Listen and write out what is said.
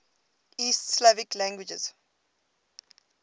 east slavic languages